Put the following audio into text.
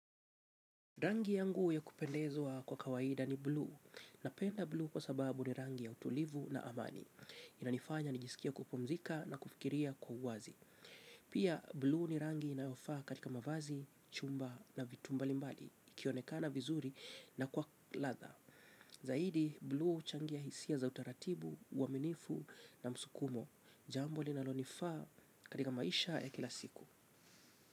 Rangi yangu ya kupendezwa kwa kawaida ni blue. Napenda blue kwa sababu ni rangi ya utulivu na amani. Inanifanya nijisikie kupumzika na kufikiria kwa uwazi. Pia, blue ni rangi inayofaa katika mavazi, chumba na vitu mbalimbali, ikionekana vizuri na kwa ladha. Zaidi, blue huchangia hisia za utaratibu, uaminifu na msukumo. Jambo linalonifaa katika maisha ya kila siku.